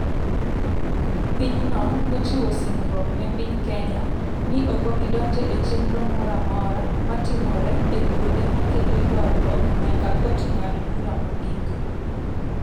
pinyno nochiwo singruok ne piny Kenya ni ok obi donjo e chenro moro amora ma timore e kuonde ma kelo ywaruok nyaka kot ng'ad bura mogik.